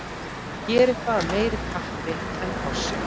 Að gera eitthvað meira af kappi en forsjá